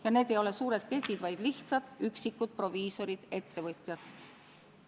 Ja need ei ole suured ketid, vaid lihtsalt üksikud proviisorid-ettevõtjad.